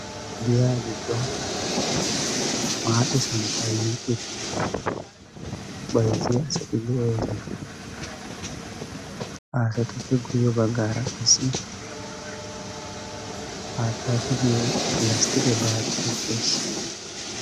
gadiyaa giddon maaxe santtaa yiici baizziya asati de7oosana. aasatoppe guyye baggaara qassi haattaa tigiyo lasttiqe baatty de.7ees